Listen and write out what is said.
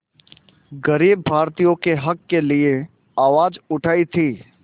ग़रीब भारतीयों के हक़ के लिए आवाज़ उठाई थी